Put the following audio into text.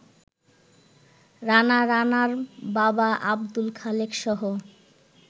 রানা, রানার বাবা আব্দুল খালেকসহ